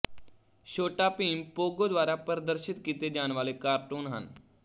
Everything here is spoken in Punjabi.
ਛੋਟਾ ਭੀਮ ਪੋਗੋ ਦੁਆਰਾ ਪ੍ਰਦਰਸ਼ਿਤ ਕੀਤੇ ਜਾਣ ਵਾਲੇ ਕਾਰਟੂਨ ਹਨ